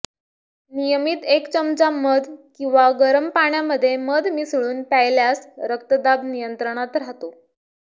नियमित एक चमचा मध किंवा गरम पाण्यामध्ये मध मिसळून प्यायल्यास रक्तदाब नियंत्रणात राहतो